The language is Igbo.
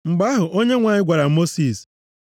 Mgbe ahụ, Onyenwe anyị gwara Mosis,